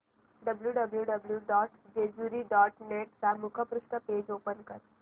W W W dot Jejuri dot net चे मुखपृष्ठ page open कर